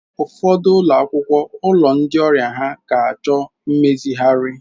Ụfọdụ ụlọ akwụkwọ, ụlọ ndi ọrịa ha ga-achọ mmezigharị.